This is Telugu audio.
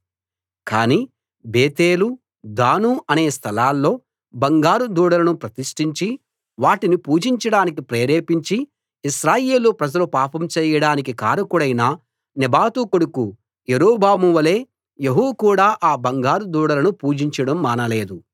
కానీ బేతేలు దాను అనే స్థలాల్లో బంగారు దూడలను ప్రతిష్టించి వాటిని పూజించడానికి ప్రేరేపించి ఇశ్రాయేలు ప్రజలు పాపం చేయడానికి కారకుడైన నెబాతు కొడుకు యరొబాము వలె యెహూ కూడా ఆ బంగారు దూడలను పూజించడం మానలేదు